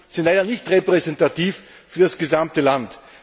sind leider nicht repräsentativ für das gesamte Land.